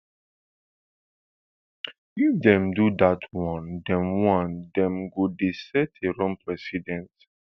if dem do dat one dem one dem go dey set a wrong precedence